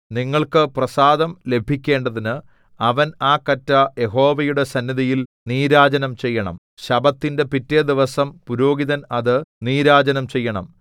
നിങ്ങൾക്ക് പ്രസാദം ലഭിക്കേണ്ടതിന് അവൻ ആ കറ്റ യഹോവയുടെ സന്നിധിയിൽ നീരാജനം ചെയ്യണം ശബ്ബത്തിന്റെ പിറ്റെ ദിവസം പുരോഹിതൻ അത് നീരാജനം ചെയ്യണം